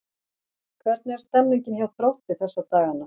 Hvernig er stemningin hjá Þrótti þessa dagana?